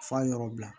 F'a yɔrɔ bila